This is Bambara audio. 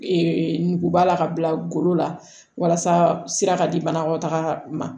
nuguba la ka bila golo la walasa sira ka di banakɔtaga ma